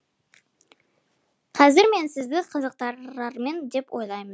қазір мен сізді қызықтырармын деп ойлаймын